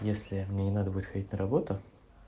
если мне не надо будет ходить на работу